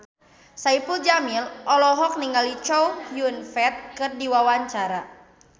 Saipul Jamil olohok ningali Chow Yun Fat keur diwawancara